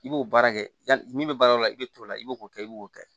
I b'o baara kɛ yani min bɛ baara o i bɛ t'o la i b'o kɛ i b'o kɛ